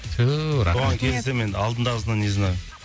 бұған келісем енді алдындағысына не знаю